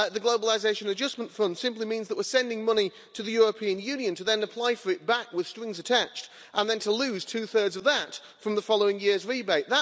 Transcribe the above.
The Globalisation Adjustment Fund simply means that we're sending money to the European Union to then apply for it back with strings attached, and then to lose two thirds of that from the following year's rebate.